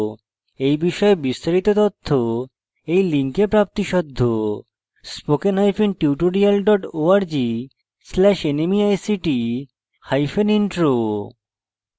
এই বিষয়ে বিস্তারিত তথ্য এই লিঙ্কে প্রাপ্তিসাধ্য spoken hyphen tutorial dot org slash nmeict hyphen intro